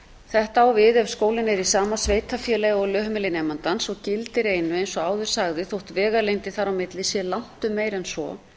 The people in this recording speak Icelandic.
þetta á við ef skólinn er í sama sveitarfélagi og lögheimili nemandans og gildir einu eins og áður sagði þótt vegalengdin þar á milli sé langtum meiri en svo